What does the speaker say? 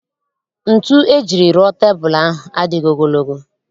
Ntu ejiri rụọ tebul ahụ adịghị ogologo